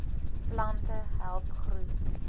plante help groei